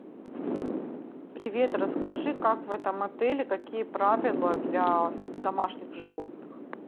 привет расскажи как в этом отеле какие правила для домашних животных